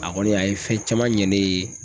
A kɔni a ye fɛn caman ɲɛ ne ye